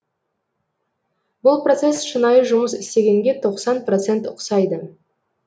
бұл процесс шынайы жұмыс істегенге тоқсан процент ұқсайды